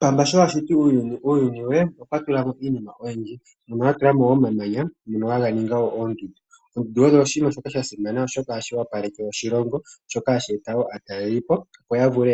Pamba sho ashiti uuyuni we okwatulamo iinima oyindji mono atulamo omamanya ngono haga ningi oondundu . Oondundu odho oshinima shoka shasimana oshoka ohadhi opaleke oshilongo shoka hashi eta woo aatalelipo opo yavule